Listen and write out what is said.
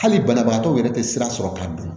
Hali banabagatɔw yɛrɛ tɛ sira sɔrɔ k'a don